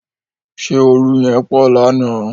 Ṣé oru yẹn pọ̀ lánàá.